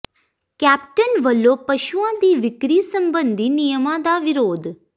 captain ਵੱਲੋਂ ਪਸ਼ੂਆਂ ਦੀ ਵਿਕਰੀ ਸਬੰਧੀ ਨਿਯਮਾਂ ਦਾ ਵਿਰੋਧ